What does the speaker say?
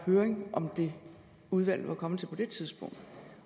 høring om det udvalget var kommet til på det tidspunkt